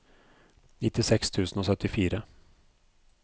nittiseks tusen og syttifire